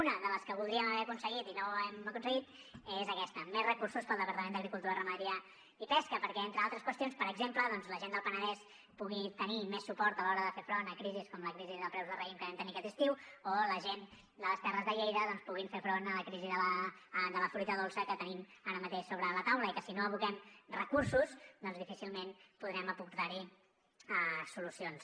una de les que voldríem haver aconseguit i no hem aconseguit és aquesta més recursos pel departament d’agricultura ramaderia i pesca perquè entre altres qüestions per exemple doncs la gent del penedès pugui tenir més suport a l’hora de fer front a crisis com la crisi de preus del raïm que vam tenir aquest estiu o la gent de les terres de lleida puguin fer front a la crisi de la fruita dolça que tenim ara mateix sobre la taula i que si no hi aboquem recursos doncs difícilment podrem aportar hi solucions